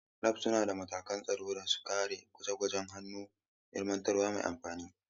Labs suna da matakan tsaro don sauƙaƙe gwaje-gwajen hannu da ilmantarwa mai amfani.